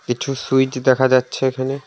কিছু সুইচ দেখা যাচ্ছে এখানে।